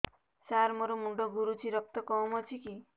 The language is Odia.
ସାର ମୋର ମୁଣ୍ଡ ଘୁରୁଛି ରକ୍ତ କମ ଅଛି କି